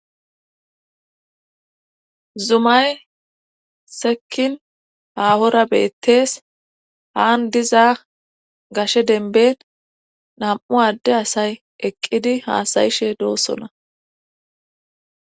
Zumay sekkin haahora beettees haan diza gashe denben nam'u adde asay eqqidi haasayishe doosona.